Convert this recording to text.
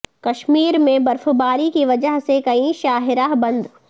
کشمیر میں برفباری کی وجہ سے کئی شاہراہ بند